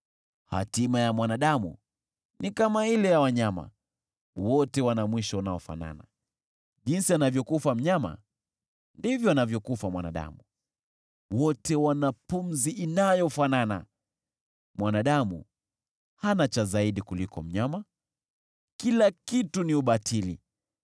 Hatima ya mwanadamu ni kama ile ya wanyama; wote wana mwisho unaofanana: Jinsi anavyokufa mnyama, ndivyo anavyokufa mwanadamu. Wote wana pumzi inayofanana; mwanadamu hana cha zaidi kuliko mnyama. Kila kitu ni ubatili.